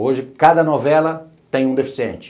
Hoje, cada novela tem um deficiente.